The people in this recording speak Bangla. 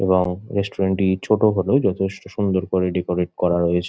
এবং রেস্টুরেন্ট -টি ছোট হলেও যথেষ্ট সুন্দর করে ডেকোরেট করা রয়েছ--